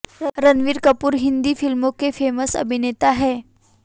रणबीर कपूर हिन्दी फिल्मों के फेमस अभिनेता है